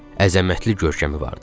Əzəmətli görkəmi vardı.